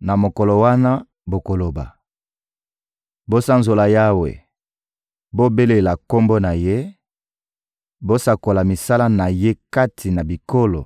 Na mokolo wana bokoloba: «Bosanzola Yawe, bobelela Kombo na Ye, bosakola misala na Ye kati na bikolo